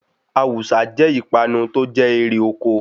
Awùsá jẹ́ ipanu tó jẹ́ èrè oko.